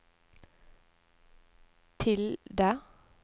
tilde